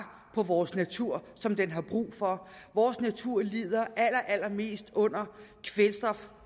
på vores natur som den har brug for vores natur lider allerallermest